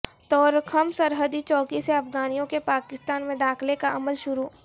طورخم سرحدی چوکی سے افغانیوں کے پاکستان میں داخلے کا عمل شروع